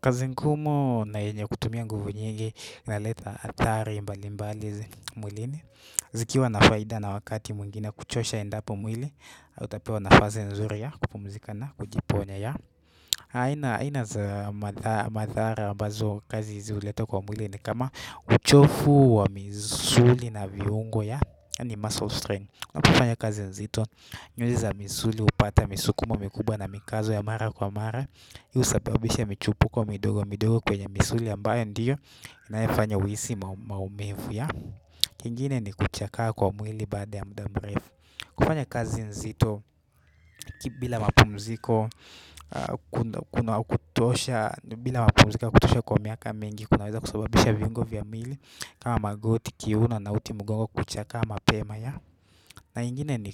Kazi ngumu na yenye kutumia nguvu nyingi inaleta athari mbali mbali mwilini zikiwa na faida na wakati mwingine kuchosha endapo mwili utapewa nafasi nzuri ya kupumzika na kujiponya ya aina za madhara ambazo kazi hizi huleta kwa mwili ni kama uchovu wa misuli na viungo ya yaani muscle strain unapofanya kazi nzito nyuzi za misuli hupata misukumo mikubwa na mikazo ya mara kwa mara hii husababisha michupuko midogo midogo kwenye misuli ambayo ndiyo inayofanya uhisi maumivu ya kingine ni kuchakaa kwa mwili baada ya muda mrefu kufanya kazi nzito bila mapumziko yakutosha kwa miaka mingi kunaweza kusababisha viungo vya mili kama magoti kiuno na uti mugongo kuchakaa mapema ya na ingine ni